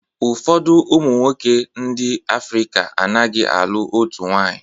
Ụfọdụ ụmụnwoke ndị Africa a naghị alụ otu nwanyị.